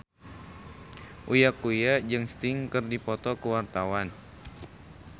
Uya Kuya jeung Sting keur dipoto ku wartawan